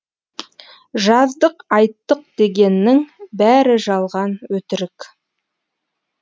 жаздық айттық дегеннің бәрі жалған өтірік